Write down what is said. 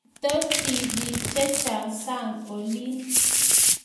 Mito tibiik che chang sang olin